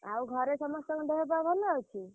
ଆଉ ଘରେ ସମସ୍ତଙ୍କ ଦେହପାହ ଭଲ ଅଛି?